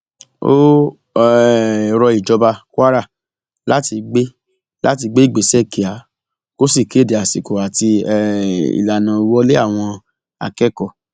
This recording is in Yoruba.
ó um rọ ìjọba kwara láti gbé láti gbé ìgbésẹ kíá kó sì kéde àsìkò àti um ìlànà ìwọlé àwọn akẹkọọ